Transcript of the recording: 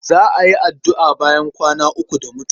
Za a yi addu'a bayan kwana uku da mutuwa.